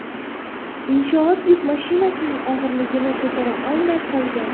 Inshoot yuk mashinasining og‘irligini ko‘tara olmay qolgan .